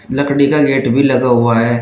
लकड़ी का गेट भी लगा हुआ है।